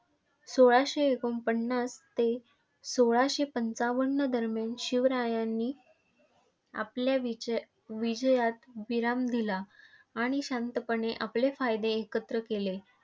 सोळाशे एकोणपन्नास ते सोळाशे पंचावन्न दरम्यान शिवरायांनी आपल्या विजविजयात विराम दिला. आणि शांतपणे आपले फायदे एकत्र केले.